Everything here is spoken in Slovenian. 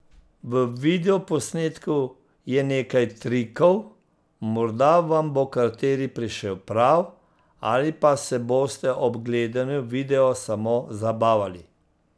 V videoposnetku je nekaj trikov, morda vam bo kateri prišel prav, ali pa se boste ob gledanju videa samo zabavali.